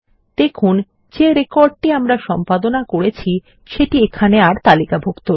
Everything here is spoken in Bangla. দেখুন যে রেকর্ড টি আমরা সম্পাদনা করেছি সেটি এখানে আর তালিকাভুক্ত নেই